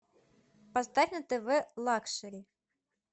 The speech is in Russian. поставь на тв лакшери